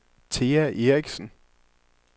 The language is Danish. Thea Eriksen